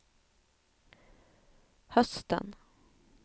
hösten